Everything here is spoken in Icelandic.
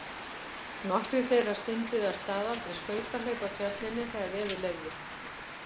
Nokkrir þeirra stunduðu að staðaldri skautahlaup á Tjörninni þegar veður leyfði.